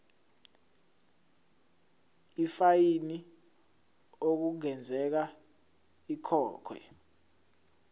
ifayini okungenzeka ikhokhwe